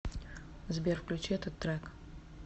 сбер включи этот трек